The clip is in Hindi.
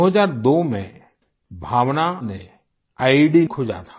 2002 में डॉग भावना ने ईईडी खोजा था